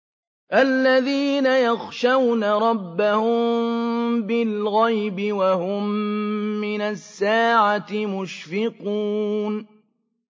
الَّذِينَ يَخْشَوْنَ رَبَّهُم بِالْغَيْبِ وَهُم مِّنَ السَّاعَةِ مُشْفِقُونَ